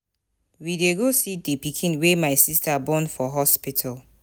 We dey go see the pikin wey my sister born for hospital.